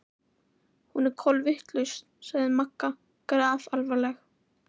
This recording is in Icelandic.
Hún er kolvitlaus sagði Magga grafalvarleg.